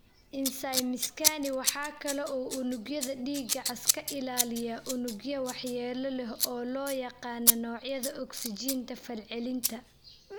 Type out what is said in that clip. Insaymiskani waxa kale oo uu unugyada dhiigga cas ka ilaaliyaa unugyo waxyeello leh oo loo yaqaan noocyada ogsijiinta fal-celinta.